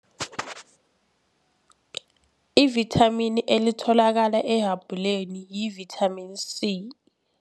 Ivithamini elitholakala ehabhuleni yi-vitamin C.